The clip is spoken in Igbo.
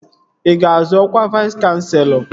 Ị ga-azọ ọkwa Vais kanselọ?